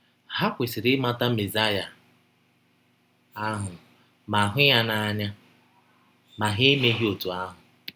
Ha kwesịrị ịmata Mesaya ahụ ma hụ ya n’anya, ma ha emeghị ọtụ ahụ.